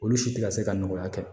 Olu si tɛ ka se ka nɔgɔya kɛ